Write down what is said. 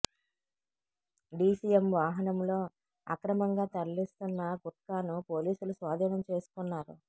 DCM వాహనంలో అక్రమంగా తరలిస్తున్న గుట్కాను పోలీసులు స్వాధీనం చేసుకున్నారు